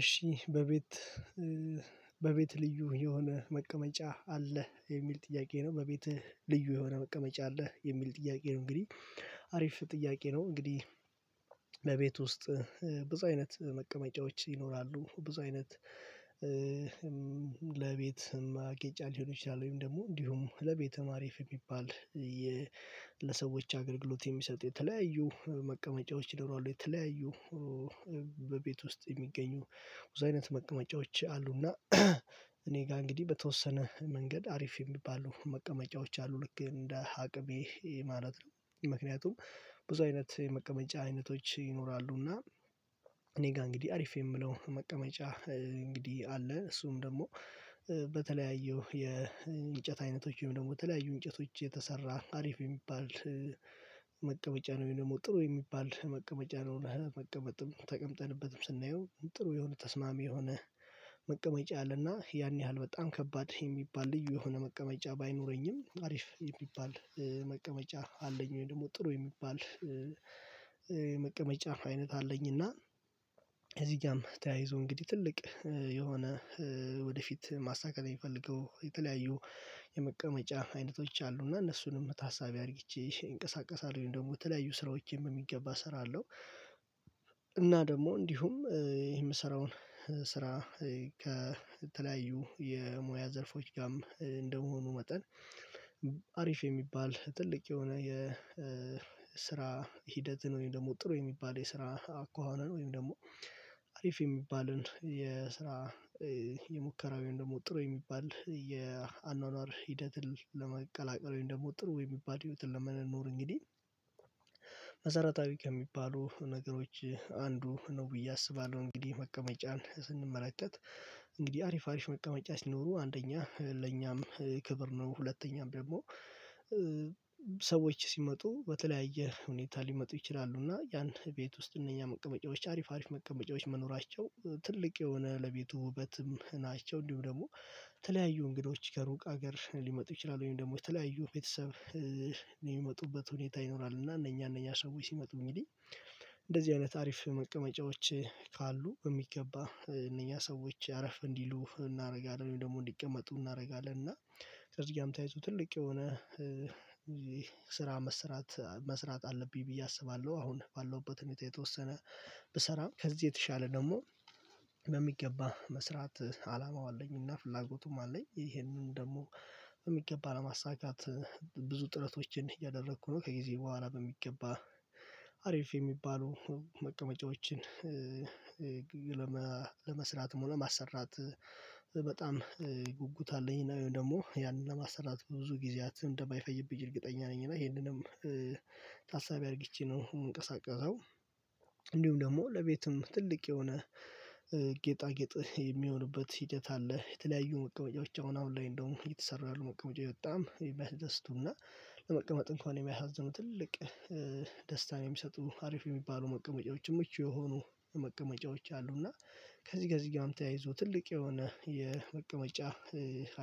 እሺ በቤት በቤት ልዩ የሆነ መቀመጫ አለ የሚል ጥያቄ ነው በቤትህ ልዩ የሆነ መቀመጫ አለ የሚል ጥያቄ ነው? እንግዲህ አሪፍ ጥያቄ ነው። እንግዲህ ለቤት ውስጥ ብዙ አይነት መቀመጫዎች ይኖራሉ። ብዙ አይነት ለቤት ማጌጫ ሊሆን ይችላል ወይም ደግሞ እንዲሁም ለቤቱም አሪፍ የሚባል ለሰዎች አገልግሎት የሚሰጡ የተለያዩ መቀመጫዎች ይኖራሉ። የተለያዩ በቤት ውስጥ የሚገኙ ብዙ አይነት መቀመጫዎች አሉና እኔ ጋር እንግዲህ በተወሰነ መንገድ አሪፍ የሚባሉ መቀመጫዎች አሉ ልክ እንደ አቅሜ ማለት ነው። ምክንያቱም ብዙ አይነት የመቀመጫ አይነቶች ይኖራሉና እኔ ጋር እንግዲህ አሪፍ የምለው መቀመጫ እንግዲህ አለ። እሱም ደግሞ በተለያዩ የእንጨት አይነቶች ወይም ደግሞ በተለያዩ እንጨቶች የተሰራ አሪፍ የሚባል መቀበጫ ነው። ወይ ደግሞ ጥሩ የሚባል መቀመጫ ነው። ለመቀመጥም ተቀምጠንበትም ስናየው ጥሩ የሆነ ተስማሚ የሆነ መቀመጫ አለና ያን ያህል በጣም ከባድ የሚባል ልዩ የሆነ መቀመጫ ባይኖረኝም አሪፍ የሚባል መቀመጫ አለኝ። ወይም ደግሞ ጥሩ የሚባል መቀመጫ አይነት አለኝና ከዚጋም ተያይዞ እንግዲህ ትልቅ የሆነ ወደፊት ማሳካት የሚፈልገው የተለያዩ የመቀመጫ አይነቶች አሉ እና እነሱንም ታሳቢ አድርጊቼ እንቀሳቀሳለው ወይም ደግሞ የተለያዩ ስራዎችም በሚገባ እሰራለሁ። እና ደግሞ እንዲሁም የምሰራውን ስራ ከተለያዩ የሙያ ዘርፎች ጋርም እንደመሆኑ መጠን አሪፍ የሚባል ትልቅ የሆነ የስራ ሂደትን ወይም ደግሞ ጥሩ የሚባል የስራ አኳኋንን ወይም ደግሞ አሪፍ የሚባልን የስራ የሙከራ ወይም ደግሞ ጥሩ የሚባል የአኗኗር ሂደትን ለመቀላቀል ወይም ደግሞ ጥሩ የሚባል ህይወትን ለመኖር እንግዲህ። መሰረታዊ ከሚባሉ ነገሮች አንዱ ነው ብዬ አስባለሁ እንግዲህ መቀመጫን ስንመለከት እንግዲህ አሪፍ አሪፍ መቀመጫ ሲኖሩ አንደኛ ለኛም ክብር ነው። ሁለተኛም ደግሞ ሰዎች ሲመጡ በተለያየ ሁኔታ ሊመጡ ይችላሉ እና ያን ቤት ውስጥ እነኛ መቀመጫዎች አሪፍ አሪፍ መቀመጫዎች መኖራቸው ትልቅ የሆነ ለቤቱ ውበትም ናቸው። እንዲሁም ደግሞ የተለያዩ እንግዶች ከሩቅ ሀገር ሊመጡ ይችላሉ ወይም ደግሞ የተለያዩ ቤተሰብ የሚመጡበት ሁኔታ ይኖራል። እና እነኛ እነኛ ሰዎች ሲመጡ እንግዲህ እንደዚህ አይነት አሪፍ መቀመጫዎች ካሉ በሚገባ እነዚያ ሰዎች አረፍ እንዲሉ እናደርጋለን ወይም ደግሞ እንዲቀመጡ እናደርጋለን እና። ከዚህ ጋርም ተያይዞ ትልቅ የሆነ ስራ መስራት መስራት አለብኝ ብዬ አስባለሁ። አሁን ባለሁበት ሁኔታ የተወሰነ ብሰራም ከዚህ የተሻለ ደግሞ በሚገባ መስራት አላማው አለኝና ፍላጎቱም አለኝ ይሄንን ደግሞ በሚገባ ለማሳካት ብዙ ጥረቶችን እያደረኩ ነው። ከጊዜ በኋላ በሚገባ አሪፍ የሚባሉ መቀመጫዎችን ለመስራትም ሆነ ማሰራት በጣም ጉጉት አለኝ ወይም ደግሞ ያንን ለማሰራት ብዙ ጊዜያት እንደማይፈጅብኝ እርግጠኛ ነኝ። እና ይሄንንም ታሳቢ አድርጊቼ ነው የምንቀሳቀሰው። እንዲሁም ደግሞ ለቤትም ትልቅ የሆነ ጌጣጌጥ የሚሆንበት ሂደት አለ የተለያዩ መቀመጫዎች አሁን አሁን ላይ እንደውም እየተሰሩ ያሉ መቀመጫዎች በጣም የሚያስደስቱና ለመቀመጥ እንኳን የሚያሳዝኑ ትልቅ ደስታን የሚሰጡ አሪፍ የሚባሉ መቀመጫዎችም ምቹ የሆኑ መቀመጫዎች አሉ። እና ከዚህ ከዚህ ጋር ተያይዞ ትልቅ የሆነ የመቀመጫ